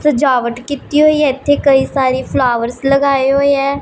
सजावट कित्ती हुई है ईत्थ सारी फ्लावर्स लगाए हुई है।